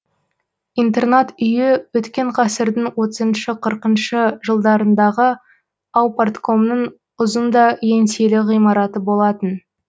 интернат үйі өткен ғасырдың отызыншы қырқыншы жылдарындағы аупарткомның ұзын да еңселі ғимараты болатын